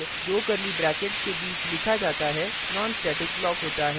जो भी code दो curly brackets के बीच लिखा जाता है nonstatic block होता है